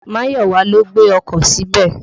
Máyọ̀wà ló gbé ọkọ̀ síbẹ̀.